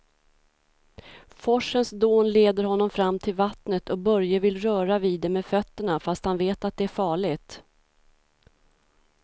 Forsens dån leder honom fram till vattnet och Börje vill röra vid det med fötterna, fast han vet att det är farligt.